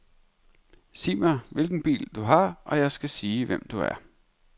Sig mig, hvilken bil du har, og jeg skal sige, hvem du er.